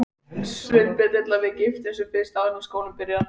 Sveinbjörn vill að við giftumst sem fyrst, áður en skólinn byrjar.